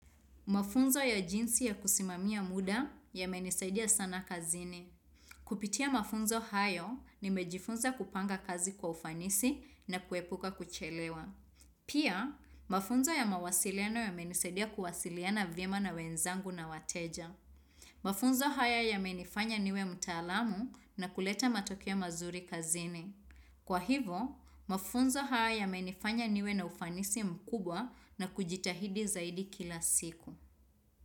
Mafunzo ya jinsi ya kusimamia muda yamenisaidia sana kazini. Kupitia mafunzo hayo nimejifunza kupanga kazi kwa ufanisi na kuepuka kuchelewa. Pia, mafunzo ya mawasiliano yamenisaidia kuwasiliana vyema na wenzangu na wateja. Mafunzo haya ya menifanya niwe mtaalamu na kuleta matokeo mazuri kazini. Kwa hivo, mafunzo haya yamenifanya niwe na ufanisi mkubwa na kujitahidi zaidi kila siku.